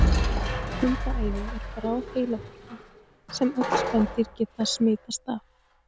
Hundaæði er bráð heilabólga sem öll spendýr geta smitast af.